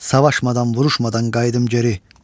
Savaşmadan, vuruşmadan qayıdım geri.